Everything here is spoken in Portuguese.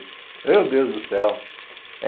Meu Deus do céu.